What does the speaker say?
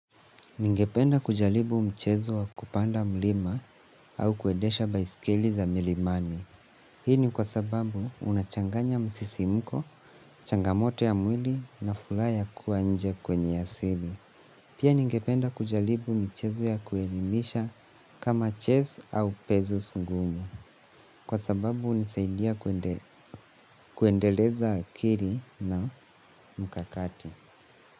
Ningependa kujalibu mchezo wa kupanda mlima au kuedesha baiskeli za milimani. Hii ni kwa sababu unachanganya msisimko, changamoto ya mwili na fulaha ya kuwa nje kwenye ya sili. Pia ningependa kujalibu michezo ya kuelimisha kama chess au pezos ngumu. Kwa sababu unisaidia kuendeleza akiri na mkakati.